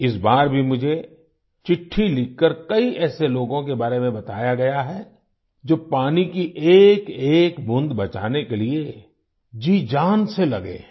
इस बार भी मुझे चिट्ठी लिखकर कई ऐसे लोगों के बारे में बताया गया है जो पानी की एकएक बूंद बचाने के लिए जीजान से लगे हैं